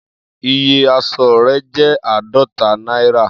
Iye asọ re jẹ aadọta naira.